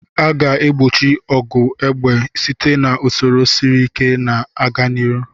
A ga-egbochi ọgụ egbe site na usoro siri ike na-aga n'ihu.